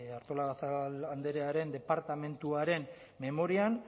artolazabal andrearen departamentuaren memorian